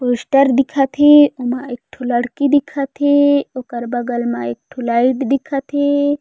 Poster दिखत हे ओमा एकठो लड़की दिखत हे ओकर बगल मा एकठो लाइट दिखत हे।